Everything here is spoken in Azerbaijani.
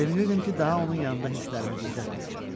Sevinirdim ki, daha onun yanında hisslərimi gizlətməyəcəm.